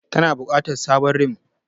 Kana bukatar sabon rim.